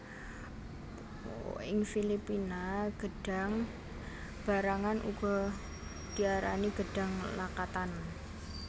Ing Filipina gêdhang barangan uga diarani gêdhang lakatan